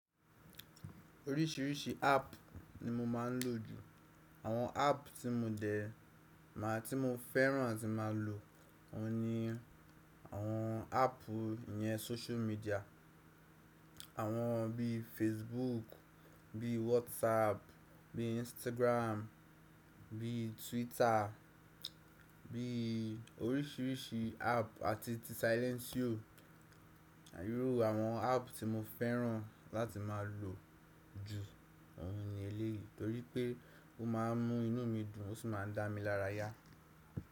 Oríṣiríṣi app ni mo máa ń lò jù. Àwọn app tí mo dè, màá tí mo fẹ́ràn àti máa lò òun ni àwọn app ìyẹn social media. Àwọn bí Facebook, bí WhatsApp, bí Instagram, bí Twitter, bí oríṣiríṣi app àti Silentio. Irú àwọn app tí mo fẹ́ràn láti máa lò jù òun ni eléyìí torí pé ó máa ń mú inú mi dùn ó sì máa ń dá mi lára yá.